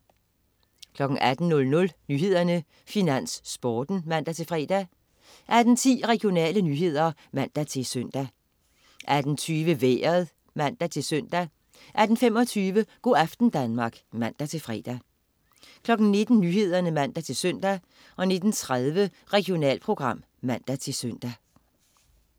18.00 Nyhederne, Finans, Sporten (man-fre) 18.10 Regionale nyheder (man-søn) 18.20 Vejret (man-søn) 18.25 Go' aften Danmark (man-fre) 19.00 Nyhederne (man-søn) 19.30 Regionalprogram (man-søn)